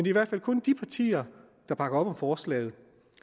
i hvert fald kun de partier der bakker op om forslaget